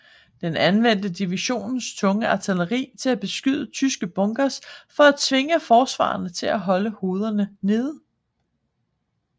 Den anvendte divisionens tunge artilleri til at beskyde tyske bunkers for at tvinge forsvarerne til at holde hovederne nede